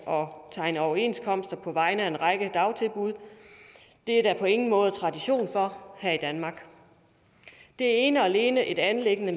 og tegne overenskomster på vegne af en række dagtilbud det er der på ingen måde tradition for her i danmark det er ene og alene et anliggende